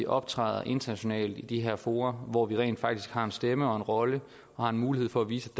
optræde internationalt i de her fora hvor vi rent faktisk har en stemme og rolle og har en mulighed for at vise